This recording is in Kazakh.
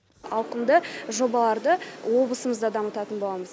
ауқымды жобаларды облысымызда дамытатын боламыз